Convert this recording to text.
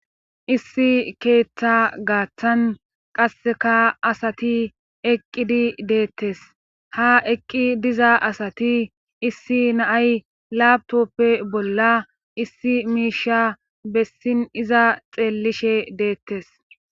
issi keeththa gaaththan qasseka asati eqqidi deettes ha eqqi diza asati issi naay laabtoppe bolla issi miisha bessin iza xeellishe deettes